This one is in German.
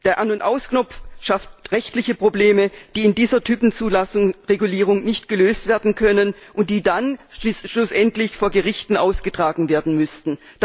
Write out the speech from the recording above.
Der An und Aus Knopf schafft rechtliche Probleme, die in dieser Typenzulassung Verordnung nicht gelöst werden können, und die dann schlussendlich vor Gerichten ausgetragen werden müssten.